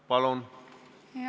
Palun!